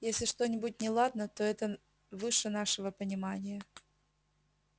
если что-нибудь неладно то это выше нашего понимания